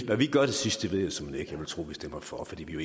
hvad vi gør til sidst ved jeg såmænd ikke jeg vil tro at vi stemmer for fordi vi jo